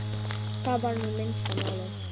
Það var nú minnsta málið.